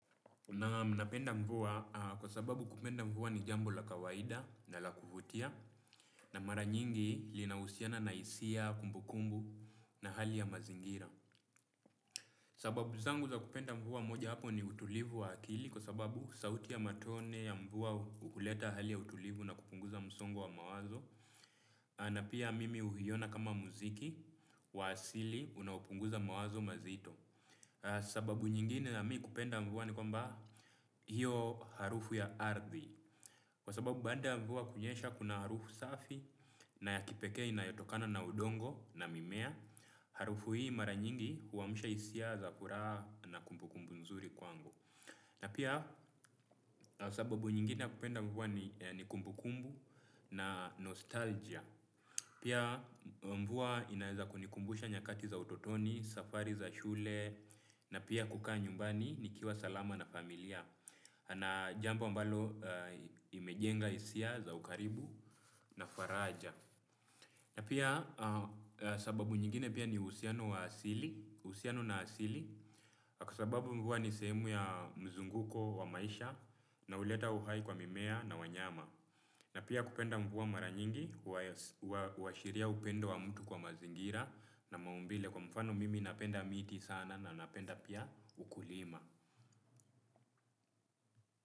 Naam napenda mvua kwa sababu kupenda mvua ni jambo la kawaida na la kuvutia na mara nyingi linausiana na hisia, kumbukumbu na hali ya mazingira. Sababu zangu za kupenda mvua moja wapo ni utulivu wa akili kwa sababu sauti ya matone ya mvua uleta hali ya utulivu na kupunguza msongo wa mawazo. Na pia mimi huiona kama muziki wa asili unaopunguza mawazo maziti aa sababu nyingine ya mi kupenda mvua ni kwamba hiyo harufu ya ardhi kwa sababu baada mvua kunyesha kuna harufu safi na ya kipekee ina yotokana na udongo na mimea. Harufu hii mara nyingi huamusha hisia za furaa na kumbukumbu nzuri kwangu na pia sababu nyingine ya kupenda mvua ni kumbukumbu na nostalgia. Pia mvua inaeza kunikumbusha nyakati za utotoni, safari za shule na pia kukaa nyumbani ni kiwa salama na familia na jambo ambalo imejenga hisia za ukaribu na faraja na pia sababu nyingine pia ni uhusiano na asili kwa sababu mvua ni sehemu ya mzunguko wa maisha na uleta uhai kwa mimea na wanyama na pia kupenda mvua mara nyingi uashiria upendo wa mtu kwa mazingira na maumbile kwa mfano mimi napenda miti sana na napenda pia ukulima.